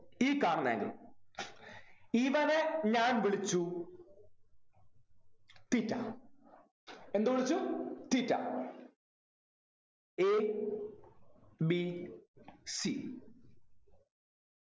ഈ കാണുന്ന angle ഇവനെ ഞാൻ വിളിച്ചു theta എന്ത് വിളിച്ചു thetaA B C